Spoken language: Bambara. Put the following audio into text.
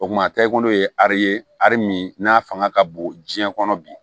O kuma tɛ i ko n'o ye ariye ari min n'a fanga ka bon jiyɛn kɔnɔ bi